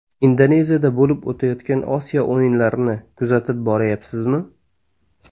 Indoneziyada bo‘lib o‘tayotgan Osiyo o‘yinlarini kuzatib boryapsizmi?